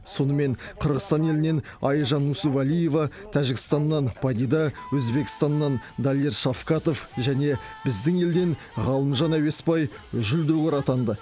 сонымен қырғызстан елінен айжан нүсіпәлиева тәжікстаннан падида өзбекстаннан далер шавкатов және біздің елден ғалымжан әуесбай жүлдегер атанды